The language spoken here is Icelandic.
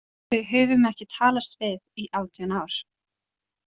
Við höfum ekki talast við í átján ár.